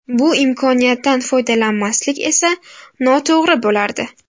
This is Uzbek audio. Bu imkoniyatdan foydalanmaslik esa noto‘g‘ri bo‘lardi.